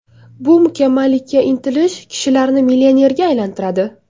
Bu mukammallikka intilish kishilarni millionerga aylantiradi.